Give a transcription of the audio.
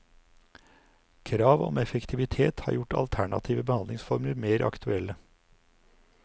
Krav om effektivitet har gjort alternative behandlingsformer mer aktuelle.